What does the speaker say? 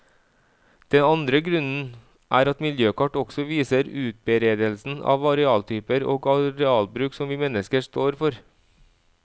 Den andre grunnen er at miljøkart også viser utberedelsen av arealtyper og arealbruk som vi mennesker står for.